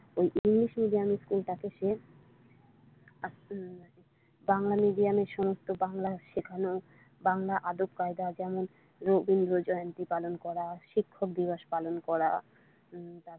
ওই English medium school টাতে সে বাংলা মিডিয়ামে সমস্ত বাংলা শেখানো বাংলা আদব কায়দা যেমন রবীন্দ্র জয়ন্তী পালন করা শিক্ষক দিবস পালন করা।